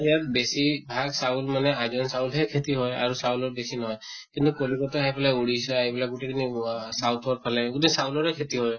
ইয়াৰ বেছি ভাগ চাউল মানে আইজোং চাউল হে খেতি হয় আৰু চাউলো বেছি নহয় । কিন্তু কলিকতা সেফালে odisha এইবিলাক গোটেই খিনি হোৱা south ৰ ফালে গোটেই চাউলৰে খেতি হয় ।